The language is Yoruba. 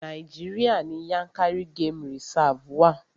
Nàíjíríà ní Yànkárí game reserve wa.